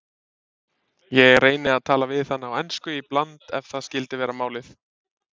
Ég reyni að tala við hana á ensku í bland ef það skyldi vera málið.